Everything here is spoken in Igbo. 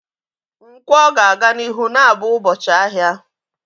Nkwo ga-aga n'ihu na-abụ ụbọchị ahịa.